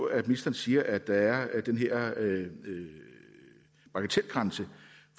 at ministeren siger at der er den her bagatelgrænse